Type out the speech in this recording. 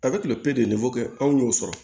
A bɛ tile pere de kɛ anw y'o sɔrɔ